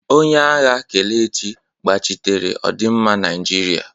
Onye agha Kelechi gbachitere ọdịmma Naijiria.